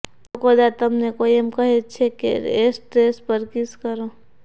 જો કદાચ તમને કોઇ એમ કહે કે એશ ટ્રે પર કિસ કરો